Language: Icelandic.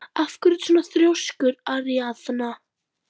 Af hverju ertu svona þrjóskur, Aríaðna?